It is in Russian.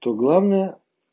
то главное